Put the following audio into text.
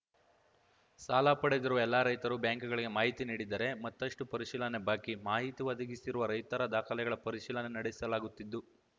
ಸಾಲ ಪಡೆದಿರುವ ಎಲ್ಲ ರೈತರು ಬ್ಯಾಂಕುಗಳಿಗೆ ಮಾಹಿತಿ ನೀಡಿದ್ದರೆ ಮತ್ತಷ್ಟುಪರಿಶೀಲನೆ ಬಾಕಿ ಮಾಹಿತಿ ಒದಗಿಸಿರುವ ರೈತರ ದಾಖಲೆಗಳ ಪರಿಶೀಲನೆ ನಡೆಸಲಾಗುತ್ತಿದ್ದು